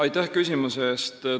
Aitäh küsimuse eest!